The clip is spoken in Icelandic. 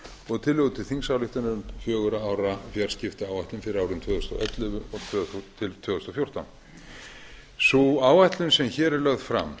og tillögu til þingsályktunar um fjögurra ára fjarskiptaáætlun fyrir árin tvö þúsund og ellefu til tvö þúsund og fjórtán sú áætlun sem hér er lögð fram